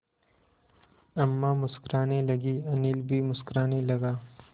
अम्मा मुस्कराने लगीं अनिल भी मुस्कराने लगा